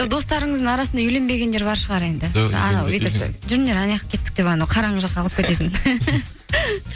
достарыңыздың арасында үйленбегендер бар шығар енді жүріңдер анаяққа кеттік деп анау қараңғы жаққа алып кететін